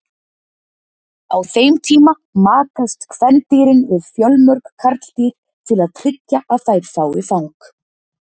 Á þeim tíma makast kvendýrin við fjölmörg karldýr til að tryggja að þær fái fang.